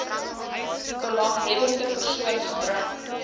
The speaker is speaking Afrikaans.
belanghebbende persoon gebring